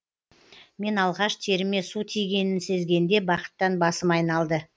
мен алғаш теріме су тигенін сезгенде бақыттан басым айналды